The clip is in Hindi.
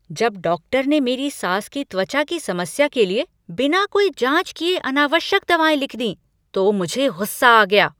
जब डॉक्टर ने मेरी सास की त्वचा की समस्या के लिए बिना कोई जांच किए अनावश्यक दवाएँ लिख दीं तो मुझे गुस्सा आ गया।